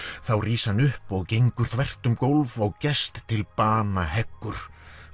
þá rís hann upp og gengur þvert um gólf og gest til bana heggur